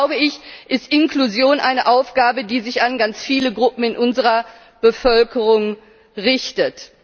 Deshalb ist Inklusion eine Aufgabe, die sich an ganz viele Gruppen in unserer Bevölkerung richtet.